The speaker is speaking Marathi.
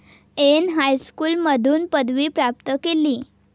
एन हायस्कूलमधून पदवी प्राप्त केली.